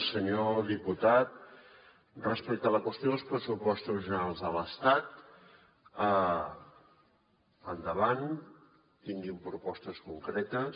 senyor diputat respecte a la qüestió dels pressupostos generals de l’estat endavant tinguin propostes concretes